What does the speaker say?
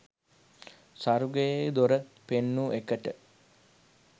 ස්වර්ගයේ දොර පෙන්නු එකට